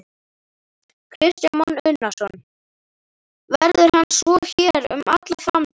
Kristján Már Unnarsson: Verður hann svo hér um alla framtíð?